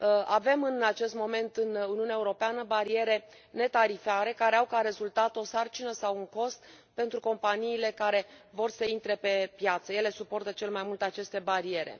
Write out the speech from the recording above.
Avem în acest moment în Uniunea Europeană bariere netarifare, care au ca rezultat o sarcină sau un cost pentru companiile care vor să intre pe piață, ele suportă cel mai mult aceste bariere